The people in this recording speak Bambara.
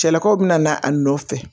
Cɛlakaw bina na a nɔfɛ